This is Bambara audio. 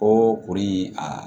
O kuru in aa